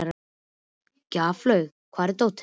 Gjaflaug, hvar er dótið mitt?